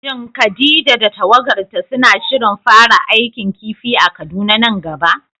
Shin Khadija da tawagarta suna shirin fara aikin kifi a Kaduna nan gaba?